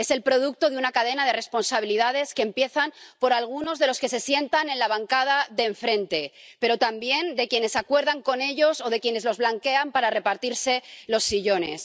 Es el producto de una cadena de responsabilidades que empieza por algunos de los que se sientan en la bancada de enfrente, pero también de quienes acuerdan con ellos o de quienes los blanquean para repartirse los sillones.